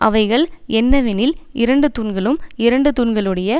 அவைகள் என்னவெனில் இரண்டு தூண்களும் இரண்டு தூண்களுடைய